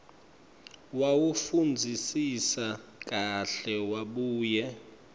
wawufundzisisa kahle wabuye